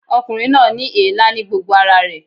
Ọkùnrin náà ní èélá ní gbogbo ara rẹ̀